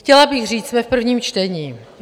Chtěla bych říct, jsme v prvním čtení.